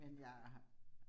Men jeg har